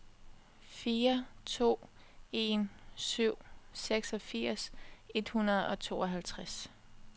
fire to en syv seksogfirs et hundrede og tooghalvtreds